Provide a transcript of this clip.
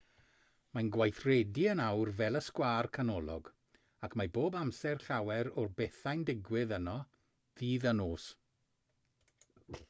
mae'n gweithredu yn awr fel y sgwâr canolog ac mae bob amser llawer o bethau'n digwydd yno ddydd a nos